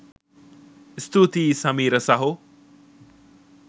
ස්තුතියි සමීර සහෝ